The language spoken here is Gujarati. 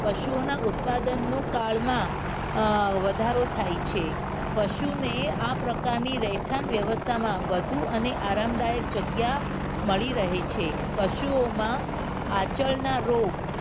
પશુઓના ઉત્પાદનનું કાળમાં અ વધારો થાય છે પશુને આ પ્રકારની રહેઠાણ વ્યવસ્થામાં વધુ અને આરંભદાયક જગ્યા મળી રહે છે પશુઓમાં આંચળના રોગ